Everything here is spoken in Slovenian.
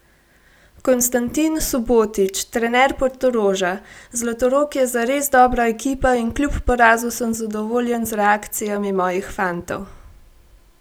Konstantin Subotić, trener Portoroža: 'Zlatorog je zares dobra ekipa in kljub porazu sem zadovoljen z reakcijami mojih fantov.